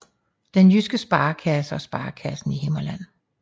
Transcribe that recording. Den Jyske Sparekasse og Sparekassen Himmerland